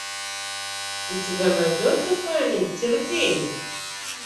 у тебя найдется камень терпения